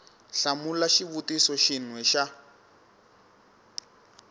hlamula xivutiso xin we xa